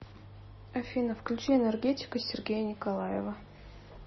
афина включи энергетика сергея николаева